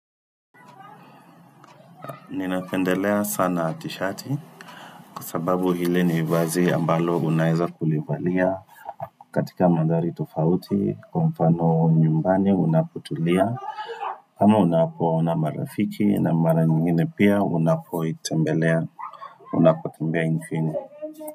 Ninapendelea sana tishati kwa sababu hile ni vazi ambalo unaeza kulivalia katika mandhari tofauti kwa mfano nyumbani unapotulia kama unapoona marafiki na mara nyingine pia unapoitembelea Unapo kimbia infini.